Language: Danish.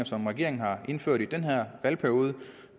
som regeringen har indført i den her valgperiode